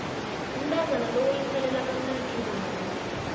umntazana lo uyikhalelakamnandi ingoma le